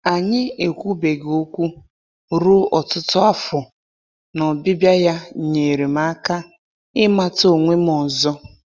Anyị ekwubeghị okwu ruo ọtụtụ afọ, na ọbịbịa ya nyeere m aka ịmata onwe m ọzọ.